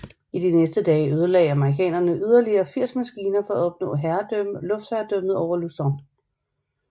I de næste dage ødelagde amerikanerne yderligere 80 maskiner for at opnå luftherredømmet over Luzon